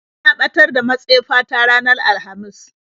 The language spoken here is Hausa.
Na ɓatar da matsefa ta ranar alhamis.